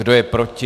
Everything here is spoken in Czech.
Kdo je proti?